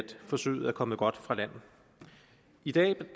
forsøget er kommet godt fra land i dag